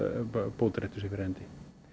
bótaréttur sé fyrir hendi